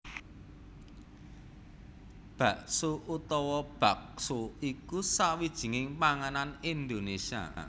Bakso utawa baxo iku sawijining panganan Indonésia